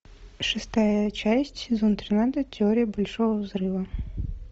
шестая часть сезон тринадцать теория большого взрыва